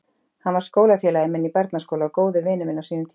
Hann var skólafélagi minn í barnaskóla og góður vinur minn á sínum tíma.